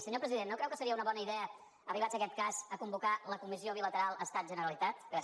senyor president no creu que seria una bona idea arribats a aquest cas convocar la comissió bilateral estatgeneralitat gràcies